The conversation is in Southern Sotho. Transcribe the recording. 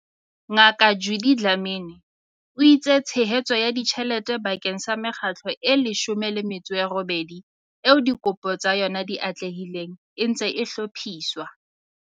Ngaka Judy Dlamini, o itse tshehetso ya ditjhelete bakeng sa mekgatlo e 18 eo dikopo tsa yona di atlehileng e ntse e hlophiswa.